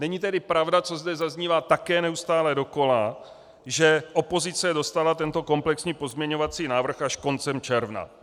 Není tedy pravda, co zde zaznívá také neustále dokola, že opozice dostala tento komplexní pozměňovací návrh až koncem června.